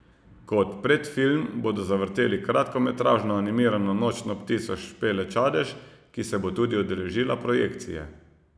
Kot predfilm bodo zavrteli kratkometražno animirano Nočno ptico Špele Čadež, ki se bo tudi udeležila projekcije.